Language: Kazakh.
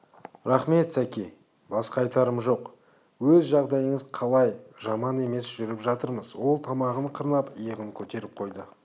рақмет сәке басқа айтарым жоқ өз жағдайыңыз қалай жаман емес жүріп жатырмыз ол тамағын қырнап иығын көтеріп қойды